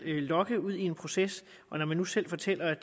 lokke ud i en proces når den nu selv fortæller at